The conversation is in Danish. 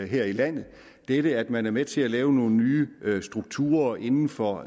her i landet dette at man er med til at lave nogle nye strukturer inden for